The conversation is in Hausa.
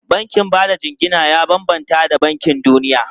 Bankin ba da jingina ya bambanta da bankin duniya.